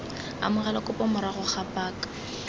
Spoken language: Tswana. amogela kopo morago ga paka